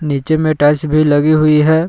नीचे में टाइल्स भी लगी हुई है।